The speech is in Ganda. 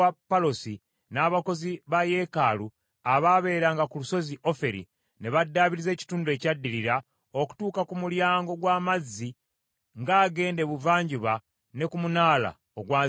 n’abakozi ba yeekaalu abaabeeranga ku lusozi Oferi ne baddaabiriza ekitundu ekyaddirira okutuuka ku Mulyango gw’Amazzi ng’agenda ebuvanjuba ne ku munaala ogwazimbibwa.